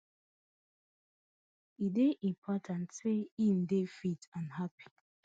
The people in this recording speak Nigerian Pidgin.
e dey important say e dey fit and happy